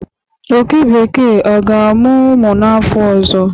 oke bekee a ga amu umu n'afo ozo?